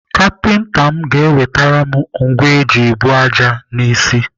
Kapinta m ga-ewetere m ngwa eji ebu ájá n'isi.